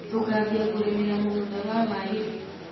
Tũkambia kũrĩmĩra mũgũnda wa wari rĩ.